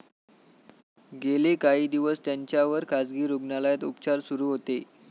गेले काही दिवस त्यांच्यावर खासगी रुग्णालयात उपचार सुरू होते.